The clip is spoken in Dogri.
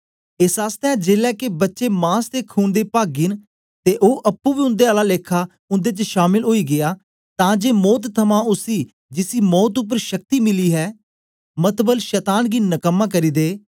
एस आसतै जेलै के बच्चे मास ते खून दे पागी न ते ओ अप्पुं बी उन्दे आला लेखा उन्दे च शामल ओई गीया तां जे मौत थमां उसी जिसी मौत उपर शक्ति मिली हे मतलब शतान गी नकम्मा करी दे